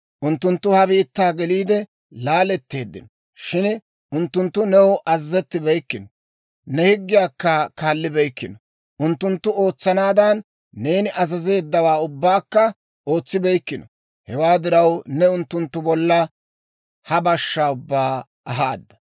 unttunttu ha biittaa geliide laatteeddino. Shin unttunttu new azazettibeykkino; ne higgiyaakka kaallibeykkino; unttunttu ootsanaadan neeni azazeeddawaa ubbaakka ootsibeykkino. Hewaa diraw, neeni unttunttu bolla ha bashshaa ubbaa ahaada.